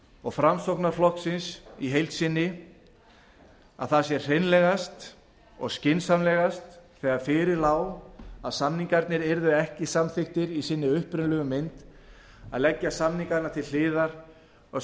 og framsóknarflokksins í heild sinni að hreinlegast og skynsamlegast hefði verið þegar fyrir lá að samningarnir yrðu ekki samþykktir í sinni upprunalegu mynd að leggja samningana til hliðar og